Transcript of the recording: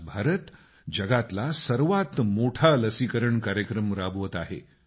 आज भारत जगातला सर्वात मोठा लसीकरण कार्यक्रम राबवत आहे